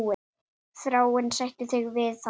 Þráinn, sættu þig við það!